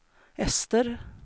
Ester